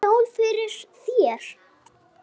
Skál fyrir þér.